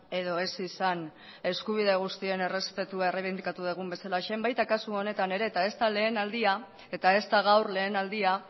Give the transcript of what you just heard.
edo ez izan eskubide guztien errespetua erreibindikatu dugun bezalaxe baita kasu honetan ere eta ez da lehen aldia eta ez da gaur lehen aldia